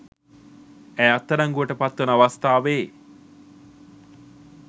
ඇය අත්අඩංගුවට පත්වන අවස්ථාවේ